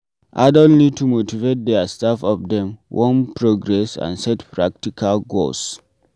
Adult need to motivate their self of dem wan progress and set practical goals